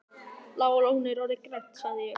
Bláa lónið orðið grænt? sagði ég.